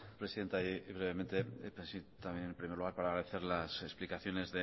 presidenta y brevemente también en primer lugar para agradecer las explicaciones